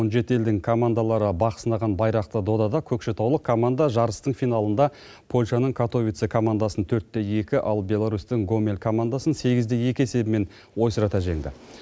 он жеті елдің командалары бақ сынаған байрақты додада көкшетаулық команда жарыстың финалында польшаның катовице командасын төрт те екі ал беларусьтің гомель командасын сегіз де екі есебімен ойсырата жеңді